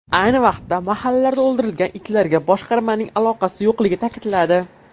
Ayni vaqtda mahallalarda o‘ldirilgan itlarga boshqarmaning aloqasi yo‘qligini ta’kidladi.